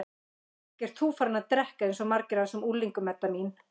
Ekki ert þú farin að drekka eins og margir af þessum unglingum, Edda mín?